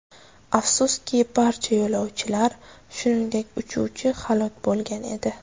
Afsuski, barcha yo‘lovchilar, shuningdek, uchuvchi halok bo‘lgan edi.